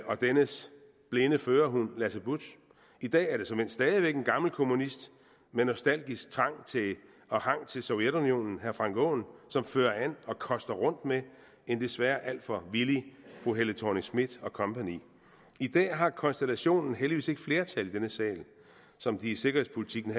og dennes blinde førerhund lasse budtz i dag er det såmænd stadig væk en gammelkommunist med nostalgisk trang og hang til sovjetunionen herre frank aaen som fører an og koster rundt med en desværre alt for villig fru helle thorning schmidt og kompagni i dag har konstellationen heldigvis ikke flertal i denne sal som de i sikkerhedspolitikken